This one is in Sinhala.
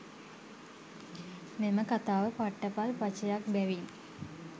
මෙම කතාව පට්ටපල් පචයක්බැවින්